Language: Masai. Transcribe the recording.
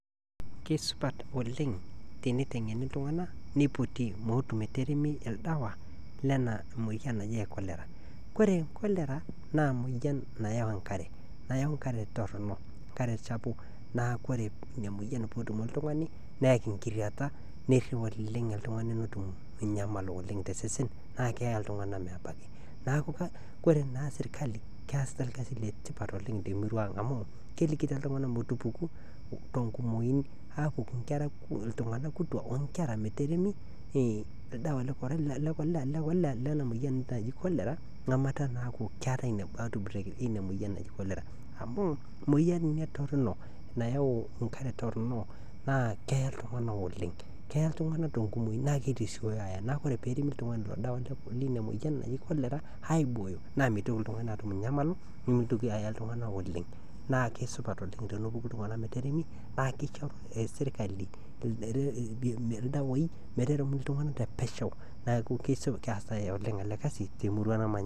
Kisupat oleng teneitengeni iltunganak nitoti meetu meteri olchani Lena moyian naji cholera ore cholera naa emoyian nayau enkare nayau enkare Torono enkare chafu naa ore Ina moyian pee etum oltungani neyaki ngiriata naa kenyamalu oltungani oleng tosesen naa keyaa iltunganak ole mebaki neeku ore naa serikali naa keyasiata esia e tipat oleng te miraa ang amu kelikito iltunganak metupuku tenkumoi aapuku iltunganak kituaak onkera metaremi olchani Lena moyian naji cholera amu etaa naa keetae Ina outbreak inamoyian naji cholera amu emoyian Ina torono nayau enkare Torono naa keya iltunganak oleng keya iltunganak tenkumoi naa kitasiooyo aya na ore pee eremi oltungani Ilo Shani linamoyian naji cholera aiboyo naa mitoki naa iltunganak aanyamalu nimitoki ayaa iltuganak oleng naa kisupat oleng tenepuku iltunganak metaremi naa kaishoru serikali ilkieek metaremi iltunganak te pesho neeku keeasitae oleng ele kazi temurua namanya.